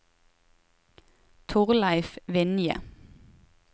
Thorleif Vinje